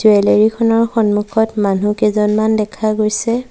Jewellery খনৰ সন্মুখত মানুহ কেইজনমান দেখা গৈছে।